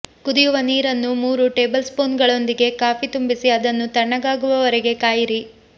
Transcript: ಕುದಿಯುವ ನೀರನ್ನು ಮೂರು ಟೇಬಲ್ಸ್ಪೂನ್ಗಳೊಂದಿಗೆ ಕಾಫಿ ತುಂಬಿಸಿ ಅದನ್ನು ತಣ್ಣಗಾಗುವವರೆಗೆ ಕಾಯಿರಿ